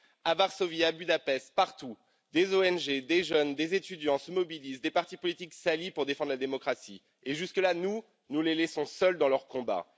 À Varsovie, à Budapest, partout, des ONG, des jeunes, des étudiants se mobilisent, des partis politiques s'allient pour défendre la démocratie et jusque là, nous, nous les laissons seuls dans leur combat.